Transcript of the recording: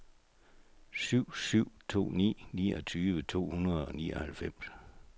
syv syv to ni niogtyve to hundrede og nioghalvfems